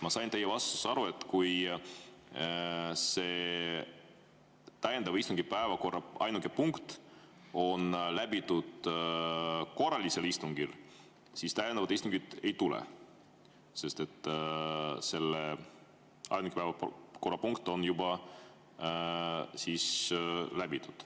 Ma sain teie vastusest aru, et kui täiendava istungi päevakorra ainuke punkt on läbitud korralisel istungil, siis täiendavat istungit ei tule, sest selle ainuke päevakorrapunkt on juba läbitud.